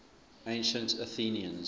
ancient athenians